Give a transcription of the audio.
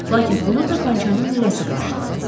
Lakin onu tapançanın lüləsi qarşıladı.